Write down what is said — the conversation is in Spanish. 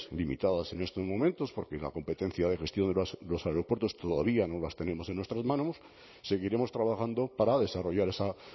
limitadas en estos momentos porque la competencia de gestión de los aeropuertos todavía no las tenemos en nuestras manos seguiremos trabajando para desarrollar esa